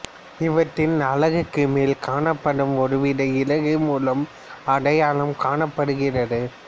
இவற்றின் அலகுக்கு மேல் காணப்படும் ஒருவித இறகு மூலம் அடையாளம் காணப்படுகிறது